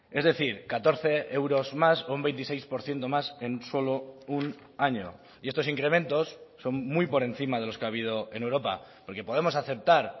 es decir catorce euros más un veintiséis por ciento más en solo un año y estos incrementos son muy por encima de los que ha habido en europa porque podemos aceptar